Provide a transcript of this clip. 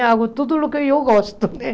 Eu faço tudo o que eu gosto, né?